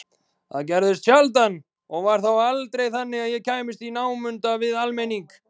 Það gerðist sjaldan og var þá aldrei þannig að ég kæmist í námunda við almenning.